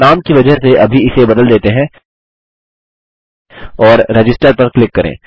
हमनाम की वजह से अभी इसे बदल देते हैं और रजिस्टर पर क्लिक करें